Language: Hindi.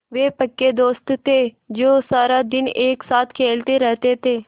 वे पक्के दोस्त थे जो सारा दिन एक साथ खेलते रहते थे